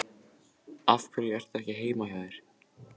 Af hverju ertu ekki heima hjá þér?